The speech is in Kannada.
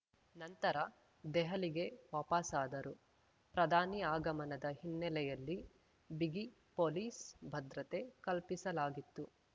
ನಂತರ ದೆಹಲಿಗೆ ವಾಪಸಾದರು ಪ್ರಧಾನಿ ಆಗಮನದ ಹಿನ್ನೆಲೆಯಲ್ಲಿ ಬಿಗಿ ಪೊಲೀಸ್‌ ಭದ್ರತೆ ಕಲ್ಪಿಸಲಾಗಿತ್ತು